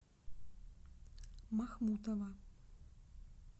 махмутова